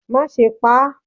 ma sé pá